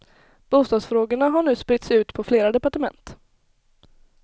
Bostadsfrågorna har nu spritts ut på flera departement.